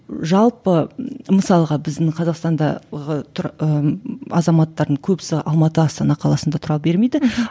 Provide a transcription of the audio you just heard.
жалпы мысалға біздің қазақстандағы тұр ы азаматтардың көбісі алматы астана қаласында тұра бермейді